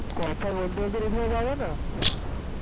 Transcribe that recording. কথা বলতে বলতে ready হওয়া যাবে না